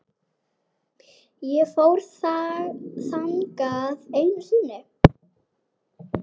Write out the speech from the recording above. Ég fór þangað einu sinni.